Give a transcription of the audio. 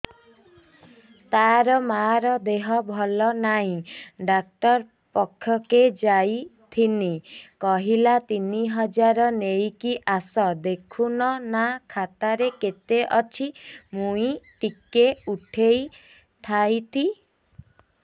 ତାର ମାର ଦେହେ ଭଲ ନାଇଁ ଡାକ୍ତର ପଖକେ ଯାଈଥିନି କହିଲା ତିନ ହଜାର ନେଇକି ଆସ ଦେଖୁନ ନା ଖାତାରେ କେତେ ଅଛି ମୁଇଁ ଟିକେ ଉଠେଇ ଥାଇତି